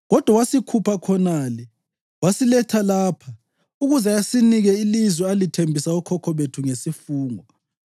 Kodwa wasikhupha khonale wasiletha lapha ukuze asinike ilizwe alithembisa okhokho bethu ngesifungo.